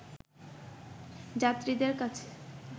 যাত্রীদের কাছ